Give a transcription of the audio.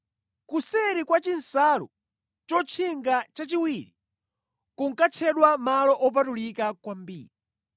Kuseri kwa chinsalu chotchinga chachiwiri kunkatchedwa Malo Opatulika kwambiri.